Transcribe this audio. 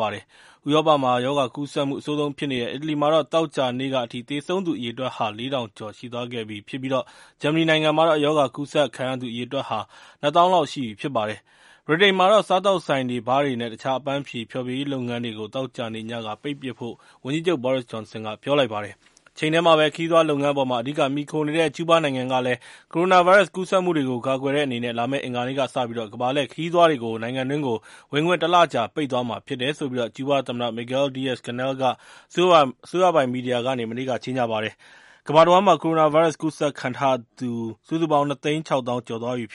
ပါတယ်။ ဥရောပမှာ ရောဂါကူးစက်မှု အဆိုးဆုံးဖြစ်နေတဲ့ အီတလီမှာတော့ သောကြာနေ့က အထိ သေဆုံးသူ အရေအတွက်ဟာ ၄ ထောင်ကျော် ရှိသွားခဲ့ပြီး ဂျာမနီနိုင်ငံမှာတော့ ရောဂါကူးစက်ခံရသူ အရေအတွက်ဟာ ၂ သောင်းလောက်ရှိသွားပြီ ဖြစ်ပါတယ်။ ဗြိတိန်နိုင်ငံမှာတော့ စားသောက်ဆိုင်တွေ၊ ဘားတွေနဲ့ တခြား အပန်းဖြေ ဖျော်ဖြေရေး လုပ်ငန်းတွေကို သောကြာနေ့ညက ပိတ်ပစ်ဖို့ ဝန်ကြီးချုပ် Boris Johnson က ပြောလိုက်ပါတယ်။ တချိန်တည်းမှာပဲ ခရီးသွားလုပ်ငန်းအပေါ်မှာ အဓိကမှီခိုနေတဲ့ ကျူးဘားနိုင်ငံကလည်း ကိုရိုနာဗိုင်းရပ်စ် ကူးစက်မှုတွေကို ကာကွယ်တဲ့အနေနဲ့ လာမယ့် အင်္ဂါနေ့ကစတင်ပြီး ကမ္ဘာလှည့်ခရီးသွားတွေကို နိုင်ငံတွင်းကို ဝင်ခွင့် ၁ လကြာ ပိတ်သွားမှာဖြစ်တယ်လို့ ကျူးဘားသမ္မတ Miguel Diaz-Canel က အစိုးရပိုင် မီဒီယာကနေ မနေ့က ကြေညာလိုက်ပါတယ်။ ကမ္ဘာတဝှမ်းမှာ ကိုရိုနာဗိုင်းရပ်စ် ကူးစက်ခံထားရသူ ၂ သိန်း ၆ သောင်းကျော် ရှိသွားပြီဖြစ်